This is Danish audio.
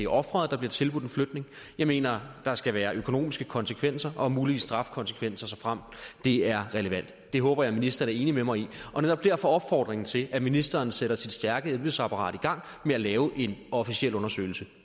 ofret der bliver tilbudt flytning jeg mener der skal være økonomiske konsekvenser og muligvis strafkonsekvenser såfremt det er relevant det håber jeg ministeren er enig med mig i og netop derfor opfordrer jeg til at ministeren sætter sit stærke embedsapparat i gang med at lave en officiel undersøgelse